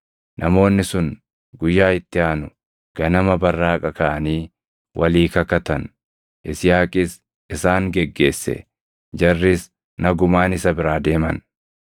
Namoonni sun guyyaa itti aanu ganama barraaqa kaʼanii walii kakatan. Yisihaaqis isaan geggeesse; jarris nagumaan isa biraa deeman.